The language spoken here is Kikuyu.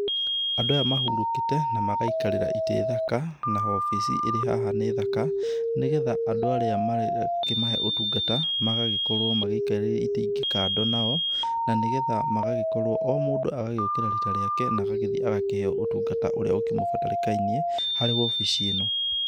Andũ aya mahurũkĩte na magaikarĩra itĩ thaka, na obici ĩrĩ haha nĩ thaka, nĩgetha andũ arĩa marakĩmahe ũtungata magagĩkorwo maikarĩire itĩ ingĩ kando nao. Na nĩgetha magagĩkorwo o mũndũ agagĩũkĩra rita rĩake na agagĩthiĩ na agakĩheo ũtungata ũrĩa ũkĩmũbatarĩkainie harĩ obici ĩno.